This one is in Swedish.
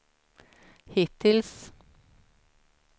hittills